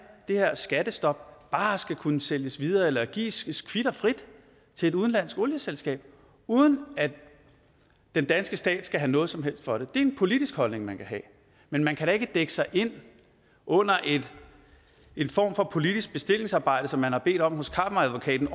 det her skattestop bare skal kunne sælges videre eller gives kvit og frit til et udenlandsk olieselskab uden at den danske stat skal have noget som helst for det det er en politisk holdning man kan have men man kan da ikke dække sig ind under en form for politisk bestillingsarbejde som man har bedt om hos kammeradvokaten